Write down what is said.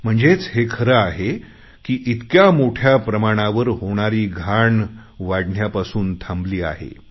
म्हणजेच हे खरे आहे की इतक्या मोठ्या प्रमाणावर होणारी घाण वाढण्यापासून थांबली आहे